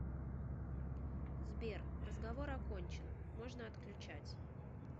сбер разговор окончен можно отключать